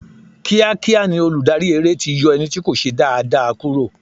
Kíá kíá ni olùdarí eré ti yọ ẹni tí kò ṣe dáa dáa kúrò.